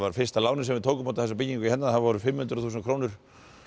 fyrsta lánið sem við tókum út af þessari byggingu hérna það voru fimm hundruð þúsund krónur